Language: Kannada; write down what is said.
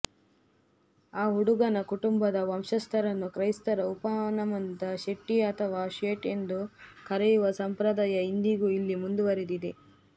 ಆ ಹುಡುಗನ ಕುಟುಂಬದ ವಂಶಸ್ಥರನ್ನು ಕ್ರೈಸ್ತರ ಉಪನಾಮದ ಶೆಟ್ಟಿ ಅಥವಾ ಶೇಟ್ ಎಂದು ಕರೆಯುವ ಸಂಪ್ರದಾಯ ಇಂದಿಗೂ ಇಲ್ಲಿ ಮುಂದುವರೆದಿದೆ